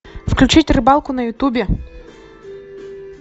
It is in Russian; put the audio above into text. включить рыбалку на ютубе